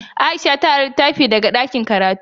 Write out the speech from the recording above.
Aisha ta ari litafi daga ɗakin karatu.